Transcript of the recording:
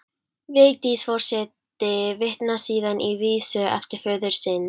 Vigdís forseti vitnar síðan í vísu eftir föður sinn